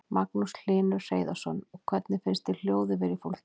Magnús Hlynur Hreiðarsson: Og hvernig finnst þér hljóðið vera í fólki?